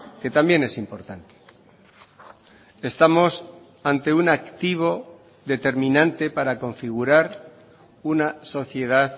que también es importante estamos ante un activo determinante para configurar una sociedad